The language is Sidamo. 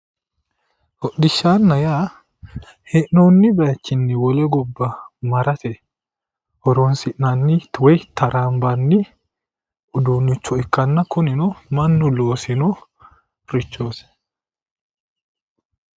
Hodhishanna yaa hee'noonni baayiichinni wole gobba horonsi'nanni woyi traanbanni uduunnicho ikkanna kunino mannu loosinorichooti